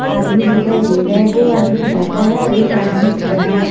आदमी दिखाई दे रहे हैं दो आदमी बैठा हैं और एक आदमी खड़ा है।